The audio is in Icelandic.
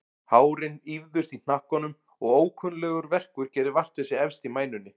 Hárin ýfðust í hnakkanum og ókunnuglegur verkur gerði vart við sig efst í mænunni.